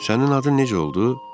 Sənin adın necə oldu?